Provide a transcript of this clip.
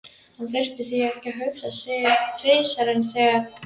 Hann þurfti því ekki að hugsa sig tvisvar um þegar